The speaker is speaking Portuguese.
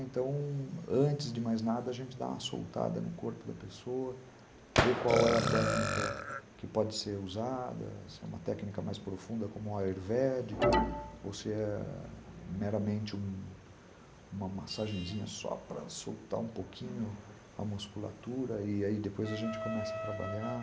Então... antes de mais nada, a gente dá uma soltada no corpo da pessoa, vê qual é a técnica que pode ser usada, se é uma técnica mais profunda como a Ayurvédica, ou se é meramente uma massagenzinha só para soltar um pouquinho a musculatura, e aí depois a gente começa a trabalhar.